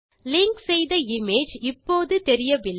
link செய்த image இப்போது தெரியவில்லை